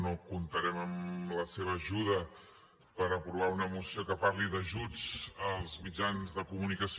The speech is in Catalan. no comptarem amb la seva ajuda per aprovar una moció que parli d’ajuts als mitjans de comunicació